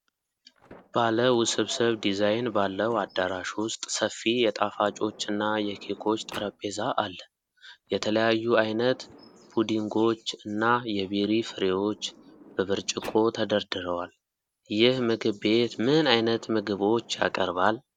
ባለ ውስብስብ ዲዛይን ባለው አዳራሽ ውስጥ ሰፊ የጣፋጮች እና የኬኮች ጠረጴዛ አለ። የተለያዩ አይነት ፑዲንጎች እና የቤሪ ፍሬዎች በብርጭቆ ተደርድረዋል። ይህ ምግብ ቤት ምን አይነት ምግቦች ያቀርባል?